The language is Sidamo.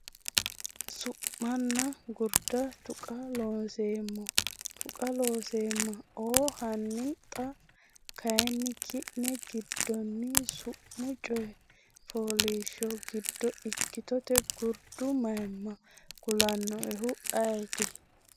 Su’manna Gurda Taqa Loonseemmo Taqa Looseemma o Hanni xa kayinni ki’ne giddonni Su’mu coy fooliishsho giddo ikkitote gurdu mayimma kulannoehu ayeeti?